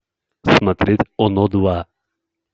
смотреть оно два